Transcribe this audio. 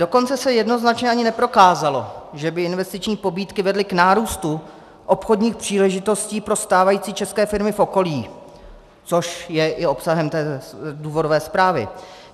Dokonce se jednoznačně ani neprokázalo, že by investiční pobídky vedly k nárůstu obchodních příležitostí pro stávající české firmy v okolí, což je i obsahem té důvodové zprávy.